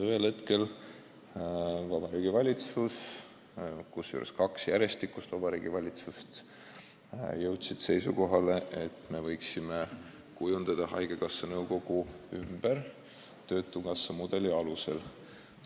Ühel hetkel Vabariigi Valitsus – kusjuures tegu oli kahe järjestikuse Vabariigi Valitsusega – jõudis seisukohale, et me võiksime kujundada haigekassa nõukogu ümber töötukassa mudeli alusel.